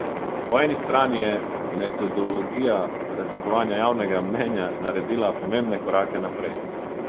Po eni strani je metodologija raziskovanja javnega mnenja naredila pomembne korake naprej.